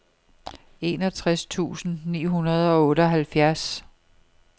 enogtres tusind ni hundrede og otteoghalvfjerds